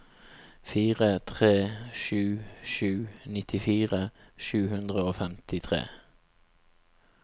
fire tre sju sju nittifire sju hundre og femtitre